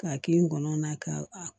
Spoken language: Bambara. K'a kɛ ngɔnɔ na ka